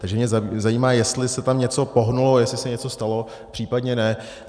Takže mě zajímá, jestli se tam něco pohnulo, jestli se něco stalo, případně ne.